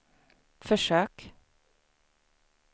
försök